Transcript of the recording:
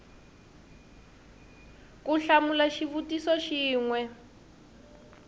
ku hlamula xivutiso xin we